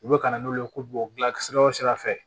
U bɛ ka na n'olu ye ko bɔ sira o sira fɛ